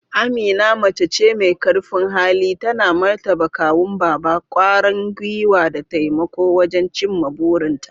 Amina mace ce mai karfin hali, tana martaba kawun Baba, kwarin gwiwa da taimako wajen cimma burinta.